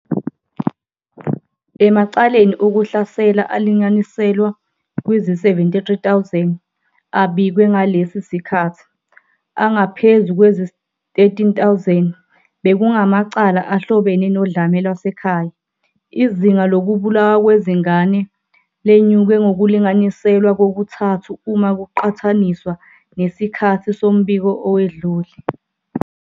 Emacaleni okuhlasela alinganiselwa kwizi-73 000 abikwe ngalesi sikhathi, angaphezu kwezi-13 000 bekungamacala ahlobene nodlame lwasekhaya. Izinga lokubulawa kwezingane lenyuke ngokulinganiselwa kokuthathu uma kuqhathaniswa nesikhathi sombiko owedlule.